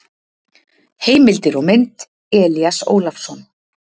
Heimildir og mynd: Elías Ólafsson.